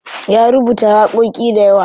Ya rubuta waƙoƙi dayawa.